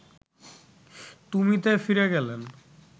তুমিতে ফিরে গেলেন